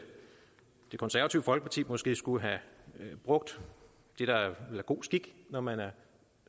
konservative folkeparti måske skulle have brugt det der er god skik når man er